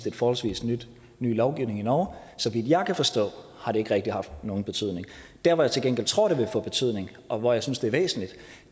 en forholdsvis ny lovgivning i norge og så vidt jeg kan forstå har det ikke rigtig haft nogen betydning der hvor jeg til gengæld tror det vil få betydning og hvor jeg synes det er væsentligt